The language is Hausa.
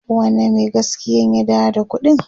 wane Mai gaskiyan ya dawo da ƙuɗin?